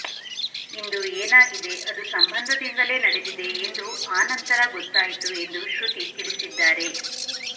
ಇಂದು ಏನಾಗಿದೆ ಅದು ಸಂಬಂಧದಿಂದಲೇ ನಡೆದಿದೆ ಎಂದು ಆನಂತರ ಗೊತ್ತಾಯಿತು ಎಂದು ಶ್ರುತಿ ತಿಳಿಸಿದ್ದಾರೆ